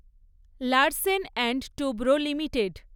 Larsen and Toubro limited